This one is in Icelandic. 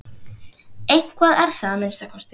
Eitthvað er það að minnsta kosti.